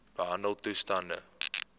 behandeltoestande